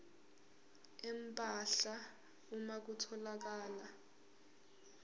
empahla uma kutholakala